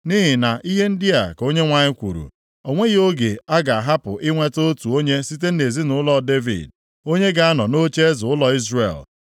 Nʼihi na ihe ndị a ka Onyenwe anyị kwuru, ‘O nweghị oge a ga-ahapụ inweta otu onye site nʼezinaụlọ Devid onye ga-anọ nʼocheeze ụlọ Izrel.